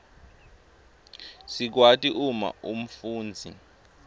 sikwati uma umfundzi